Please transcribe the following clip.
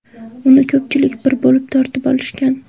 Uni ko‘pchilik bir bo‘lib tortib olishgan.